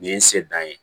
Nin ye n se da ye